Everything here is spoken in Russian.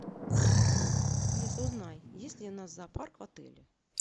алиса узнай есть ли у нас зоопарк в отеле